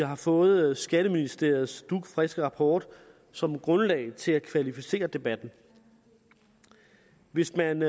har fået skatteministeriets dugfriske rapport som grundlag til at kvalificere debatten hvis man